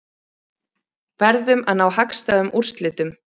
Verðum að ná hagstæðum úrslitum